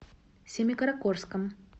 семикаракорском